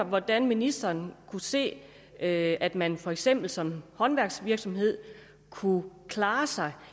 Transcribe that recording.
hvordan ministeren kunne se at at man for eksempel som håndværksvirksomhed kunne klare sig